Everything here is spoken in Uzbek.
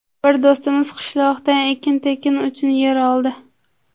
Bir do‘stimiz qishloqdan ekin-tikin uchun yer oldi.